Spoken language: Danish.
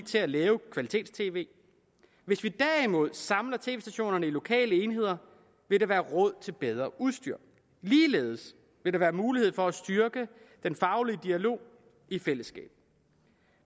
til at lave kvalitets tv hvis vi derimod samler tv stationerne i lokale enheder vil der være råd til bedre udstyr ligeledes vil der være mulighed for at styrke den faglige dialog i fællesskab